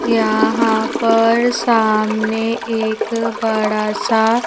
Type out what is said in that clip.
यहां पर सामने एक बड़ा सा--